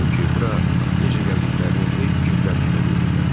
Çünki bura necə gəldiklərini heç cür dərk edə bilmirlər.